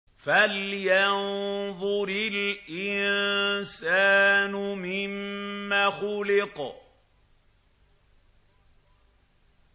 فَلْيَنظُرِ الْإِنسَانُ مِمَّ خُلِقَ